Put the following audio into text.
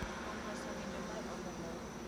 Kuom loso ng’injo mar ogandawa.